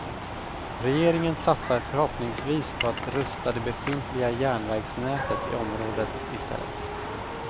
Regeringen satsar förhoppningsvis på att rusta det befintliga järnvägsnätet i området i stället.